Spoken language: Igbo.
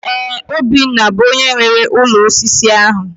Ee, Obinna bụ onyé nwe ụlọ osisi ahụ